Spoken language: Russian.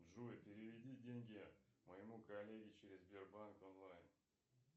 джой переведи деньги моему коллеге через сбербанк онлайн